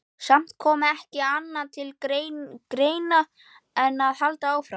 Samt kom ekki annað til greina en að halda áfram.